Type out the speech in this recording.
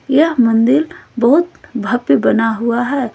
यह मंदिल बहुत भव्य बना हुआ है।